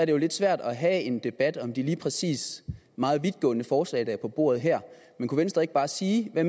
jo lidt svært at have en debat om det lige præcis meget vidtgående forslag der er på bordet her men kunne venstre ikke bare sige hvad